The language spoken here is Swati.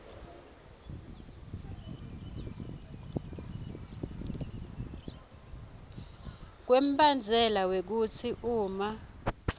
kwembandzela wekutsi uma